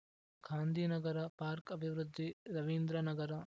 Gandhinagar park ಅಭಿವೃದ್ಧಿ ರವೀಂದ್ರ ನಗರ